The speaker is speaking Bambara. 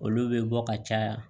Olu bɛ bɔ ka caya